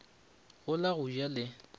go la go ja le